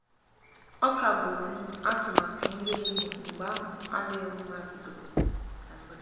a kagburu m atụmatụ nri ehihie mgbe ahụ adịghị mma bidoro m na mberede.